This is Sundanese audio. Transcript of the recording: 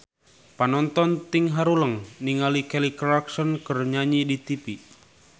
Panonton ting haruleng ningali Kelly Clarkson keur nyanyi di tipi